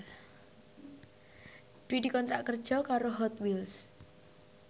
Dwi dikontrak kerja karo Hot Wheels